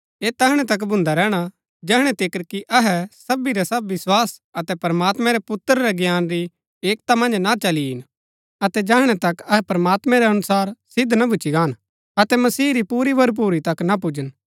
ऐह तैहणै तक भून्दा रैहणा जैहणै तिकर कि अहै सबी रै सब विस्वास अतै प्रमात्मैं रै पुत्र रै ज्ञान री एकता मन्ज ना चली ईन अतै जैहणै तक अहै प्रमात्मैं रै अनुसार सिद्ध ना भूच्ची गाहन अतै मसीह री पूरी भरपुरी तक ना पुजन